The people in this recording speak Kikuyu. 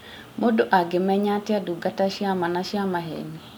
Mũndũ angĩmenya atĩa ndungata cia ma na cia maheni?